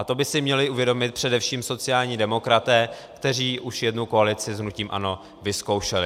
A to by si měli uvědomit především sociální demokraté, kteří už jednu koalici s hnutím ANO vyzkoušeli.